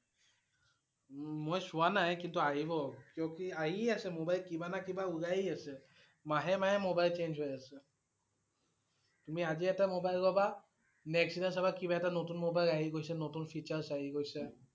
উম মই চোৱা নাই কিন্তু আহিব। কিয় কি আহিয়ে আছে mobile কিবা না কিবা উলায়ে আছে, মাহে মাহে mobile change হৈ আছে, তুমি আজি এটা mobile লবা next দিনা চাবা কিবা এটা নতুন mobile আহি গৈছে, নতুন features আহি গৈছে